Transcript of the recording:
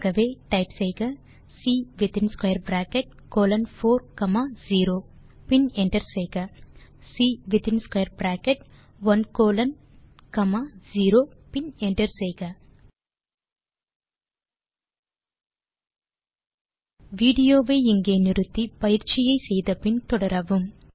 ஆகவே டைப் செய்க C within square bracket colon 4 comma 0 பின் என்டர் செய்க ஆகவே டைப் செய்க C within square bracket 1 colon comma 0 பின் என்டர் செய்க வீடியோ வை இங்கே நிறுத்தி பயிற்சியை செய்து முடித்து பின் தொடரவும்